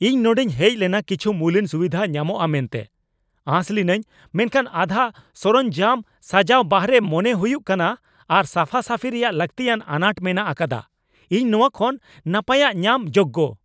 "ᱤᱧ ᱱᱚᱸᱰᱮᱧ ᱦᱮᱡᱞᱮᱱᱟ ᱠᱤᱪᱷᱩ ᱢᱩᱞᱟᱱ ᱥᱩᱵᱤᱫᱷᱟ ᱧᱟᱢᱚᱜᱼᱟ ᱢᱮᱱᱛᱮ ᱟᱸᱥ ᱞᱤᱱᱟᱹᱧ , ᱢᱮᱱᱠᱷᱟᱱ ᱟᱫᱷᱟ ᱥᱚᱨᱚᱧᱡᱟᱢ ᱥᱟᱡᱟᱣ ᱵᱟᱦᱨᱮ ᱢᱚᱱᱮ ᱦᱩᱭᱩᱜ ᱠᱟᱱᱟ ᱟᱨ ᱥᱟᱯᱷᱟᱼᱥᱟᱯᱷᱤ ᱨᱮᱭᱟᱜ ᱞᱟᱹᱠᱛᱤᱭᱟᱱ ᱟᱱᱟᱴ ᱢᱮᱱᱟᱜ ᱟᱠᱟᱫᱟ ᱾ ᱤᱧ ᱱᱚᱶᱟ ᱠᱷᱚᱱ ᱱᱟᱯᱟᱭᱟᱜ ᱧᱟᱢ ᱡᱳᱜᱽᱜᱚ ᱾